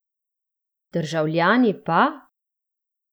Državljani pa?